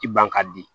I ban ka di